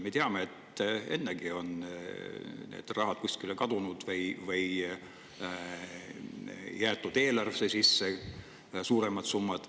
Me teame, et ennegi on raha kuskile kadunud või jäetud eelarvesse suuremad summad.